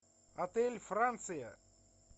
отель франция